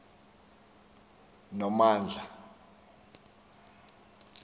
nomandla